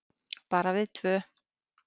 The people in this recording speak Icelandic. Bara við tvö.